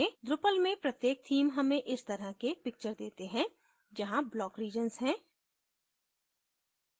drupal में प्रत्येक theme हमें इस तरह के picture देते हैं जहाँ block regions हैं